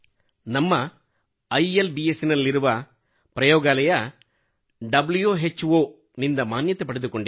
ನಮ್ಮ ಇಲ್ಬ್ಸ್ ನಲ್ಲಿರುವ ಪ್ರಯೋಗಾಲಯ ಡಬ್ಲ್ಯು ಹೆಚ್ ಓ ವ್ಹೋ ನಿಂದ ಮಾನ್ಯತೆ ಪಡೆದುಕೊಂಡಿದೆ